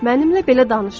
Mənimlə belə danışma.